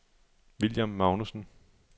William Magnussen